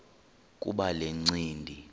kuba le ncindi